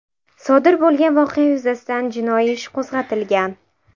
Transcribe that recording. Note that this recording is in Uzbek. Sodir bo‘lgan voqea yuzasidan jinoiy ish qo‘zg‘atilgan.